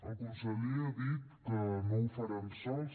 el conseller ha dit que no ho faran sols